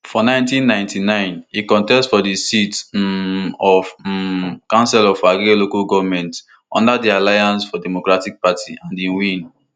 for one thousand, nine hundred and ninety-nine e contest for di seat um of um councillor for agege local goment under di alliance for democracy party and e win